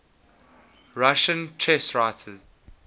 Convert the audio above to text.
russian chess writers